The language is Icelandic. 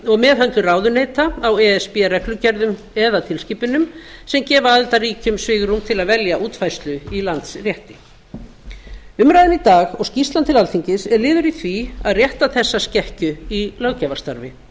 og meðhöndlun ráðuneyta á e s b reglugerðum eða tilskipunum sem gefa aðildarríkjum svigrúm til að velja útfærslu í landsrétti umræðan í dag og skýrslan til alþingis er liður í því að rétta þessa skekkju í löggjafarstarfi